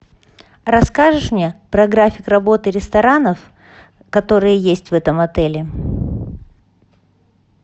расскажешь мне про график работы ресторанов которые есть в этом отеле